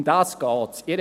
Um das geht es.